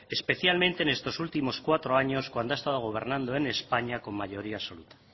especialmente en estos cuatro últimos años cuando ha estado gobernando en españa con mayoría absoluta